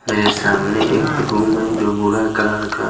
मेरे सामने एक है जो बुरा कलर का --